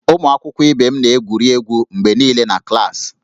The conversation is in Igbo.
Ụmụ akwụkwọ ibe m na-egwuri egwu mgbe niile na klaasị